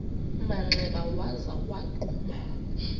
manxeba waza wagquma